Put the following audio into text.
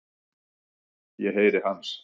Ég heyri hans.